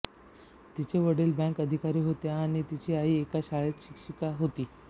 तिचे वडील बँक अधिकारी होते आणि तिची आई एका शाळेत शिक्षिका होती